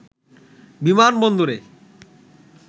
বিমান বন্দরে